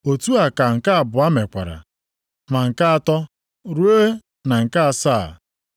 Otu a ka nke abụọ mekwara, ma nke atọ, ruo na nke asaa.